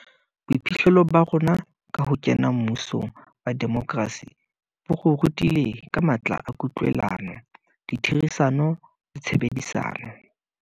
Boiphihlelo ba rona ka ho kena mmusong wa demokrasi bo re rutile ka matla a kutlwelano, ditherisano le tshebedisano.